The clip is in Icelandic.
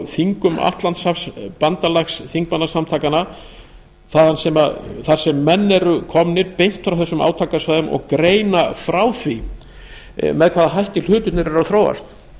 þingum atlantshafsbandalagsþingmannasamtakanna þar sem menn eru komnir beint frá þessum átakasvæðum og greina frá því með hvaða hætti hlutirnir eru að þróast